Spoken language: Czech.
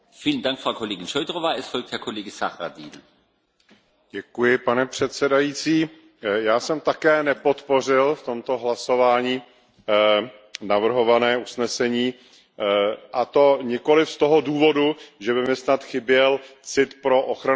Pane předsedající, já jsem také nepodpořil v tomto hlasování navrhované usnesení, a to nikoliv z toho důvodu, že by mi snad chyběl cit pro ochranu spotřebitele, ale myslím, že bychom nic neměli přehánět.